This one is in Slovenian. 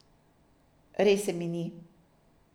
Res se mi ni.